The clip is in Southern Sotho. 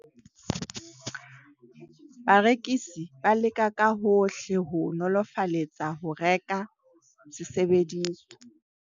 Barekisi ba leka ka hohle ho o nolofaletsa ho reka sesebediswa.